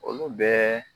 Olu bɛɛ